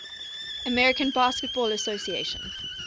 american basketball association